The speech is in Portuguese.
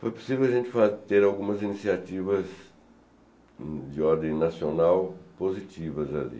Foi possível a gente ter algumas iniciativas de ordem nacional positivas ali.